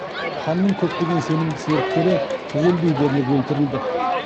ханның көптеген сенімді серіктері түгелдей дерлік өлтірілді